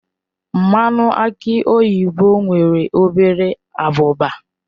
Mmanụ aki oyibo nwere obere abụba.